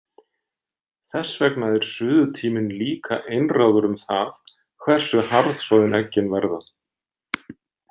Þess vegna er suðutíminn líka einráður um það hversu harðsoðin eggin verða.